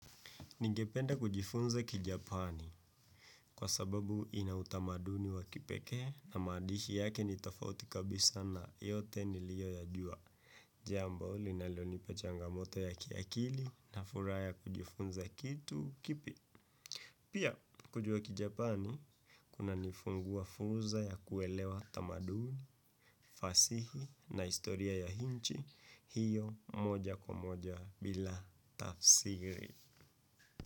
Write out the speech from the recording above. Ningependa kujifunza kijapani kwa sababu inautamaduni wa kipekee na maandishi yake nitafauti kabisa na yote niliyo ya jua. Jambo, linalonipa changamoto ya kiakili na furaha ya kujifunza kitu kipya. Pia, kujuwa kijapani, kuna nifunguwa fursa ya kuelewa tamaduni, fasihi na historia ya hinchi, hiyo moja kwa moja bila tafsiri.